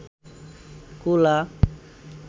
কুলা